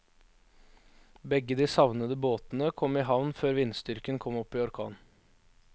Begge de savnede båtene kom i havn før vindstyrken kom opp i orkan.